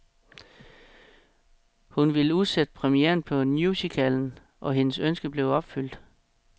Hun ville udsætte premieren på musicalen, og hendes ønske blev opfyldt.